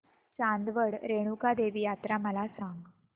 चांदवड रेणुका देवी यात्रा मला सांग